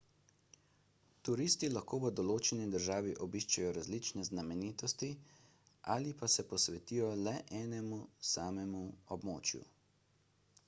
turisti lahko v določeni državi obiščejo različne znamenitosti ali pa se posvetijo le enemu samemu območju